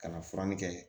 Ka na fura kɛ